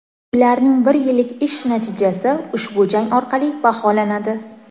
Ularning bir yillik ishi natijasi ushbu jang orqali baholanadi.